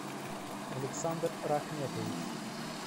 александр рахметович